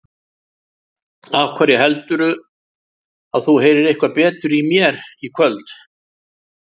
Af hverju heldurðu að þú heyrir eitthvað betur í mér í kvöld?